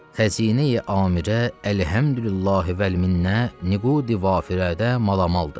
xəzinə-i amirə əlhəmdülillah vəl minnə nüqidi vafirədə malan maldır.